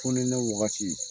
Fonɛnɛ wagati